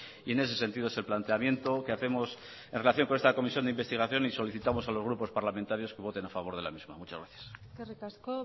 y en ese sentido es el planteamiento que hacemos en relación con esta comisión de investigación y solicitamos a los grupos parlamentario que voten a favor de la misma muchas gracias eskerrik asko